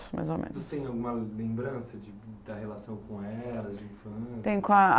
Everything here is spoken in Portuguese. mais ou menos. Você tem alguma lembrança da relação com ela de infância? Tem, com a